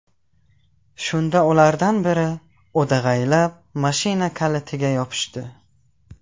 Shunda ulardan biri o‘dag‘aylab mashina kalitiga yopishdi.